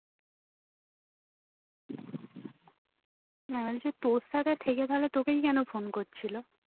হ্যাঁ সে তোর সাথে থেকে কেন তোকেই কেন phone করছিলো